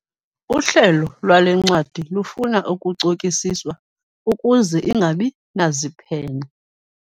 Uhlelo lwale ncwadi lufuna ukucokisiswa ukuze ingabi naziphene.